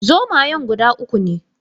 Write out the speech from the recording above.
Zomayan guda uku ne